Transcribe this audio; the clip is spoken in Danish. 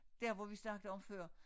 Der hvor vi snakkede om før